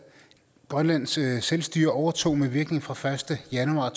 grønlands selvstyre overtog med virkning fra første januar